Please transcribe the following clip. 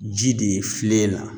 Ji de ye filen la